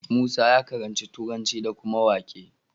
Musa ya karanci turanci da kuma waƙe